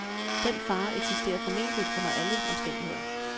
Den fare eksisterer formentlig under alle omstændigheder.